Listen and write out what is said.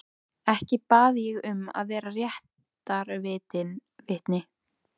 Ekki bað ég um að vera réttarvitni.